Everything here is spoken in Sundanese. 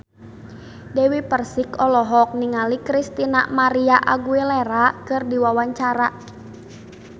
Dewi Persik olohok ningali Christina María Aguilera keur diwawancara